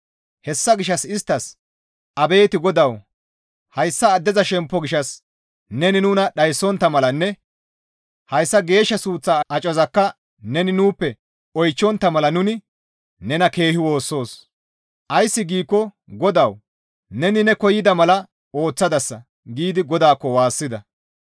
Hessa gishshas isttas, «Abeet GODAWU! Hayssa addeza shemppo gishshas neni nuna dhayssontta malanne hayssa geeshsha suuththa acozakka neni nuuppe oychchontta mala nuni nena keehi woossoos. Ays giikko GODAWU neni ne koyida mala ooththadasa» giidi GODAAKKO waassida.